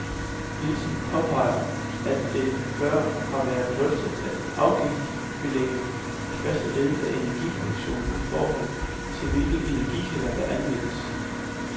Nielsen påpeger, at det før har været drøftet at afgiftsbelægge i første led af energiproduktionen i forhold til hvilke energikilder, der anvendes.